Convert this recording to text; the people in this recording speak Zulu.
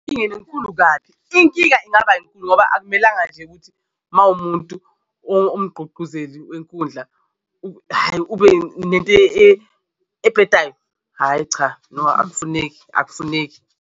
Nkingeni enkulu kabi inkinga ingaba yinkulu ngoba akumelanga nje ukuthi uma umuntu omgqugquzeli wenkundla hhayi ube nento ebhedayo, hhayi cha no akufuneki akufuneki.